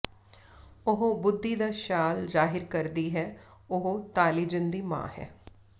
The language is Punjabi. ਉਹ ਬੁੱਧੀ ਦਾ ਸ਼ਾਲ ਜ਼ਾਹਿਰ ਕਰਦੀ ਹੈ ਉਹ ਤਾਲੀਜ਼ਿਨ ਦੀ ਮਾਂ ਹੈ